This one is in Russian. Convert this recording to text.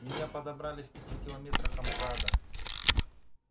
меня подобрали в пяти километрах от мкада